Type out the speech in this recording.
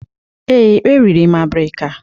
Ee, eriri m abirika.